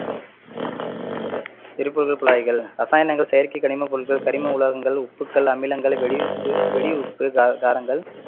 குழாய்கள், ரசாயனங்கள், செயற்கை கனிமபொருட்கள், கனிம உலோகங்கள், உப்புக்கள், அமிலங்கள், வெடி உப்பு~ வெடிஉப்பு, கா~ கா~ காரங்கள்